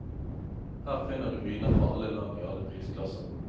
Her finner du viner fra alle land i alle prisklasser.